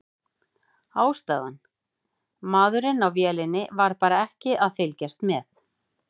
Ástæðan: Maðurinn á vélinni var bara ekki að fylgjast með.